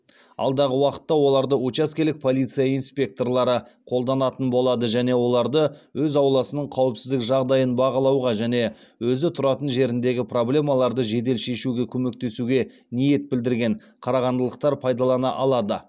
алдағы уақытта оларды учаскелік полиция инспекторлары қолданатын болады және оларды өз ауласының қауіпсіздік жағдайын бағалауға және өзі тұратын жеріндегі проблемаларды жедел шешуге көмектесуге ниет білдірген қарағандылықтар пайдалана алады